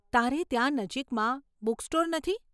તારે ત્યાં નજીકમાં બૂક્સટોર નથી?